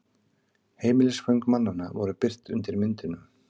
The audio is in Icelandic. Heimilisföng mannanna voru birt undir myndunum